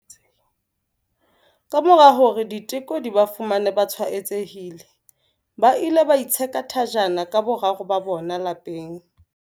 Kamora hore diteko di ba fumane ba tshwaetsehile, ba ile ba itsheka thajana ka boraro ba bona lapeng.